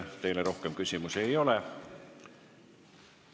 Teile rohkem küsimusi ei ole.